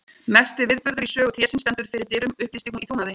Mesti viðburður í sögu trésins stendur fyrir dyrum upplýsti hún í trúnaði.